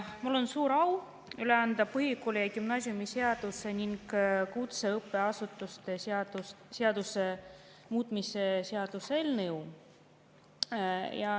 Mul on suur au üle anda põhikooli‑ ja gümnaasiumiseaduse ning kutseõppeasutuse seaduse muutmise seaduse eelnõu.